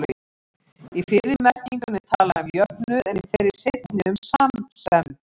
Í fyrri merkingunni er talað um jöfnuð, en í þeirri seinni um samsemd.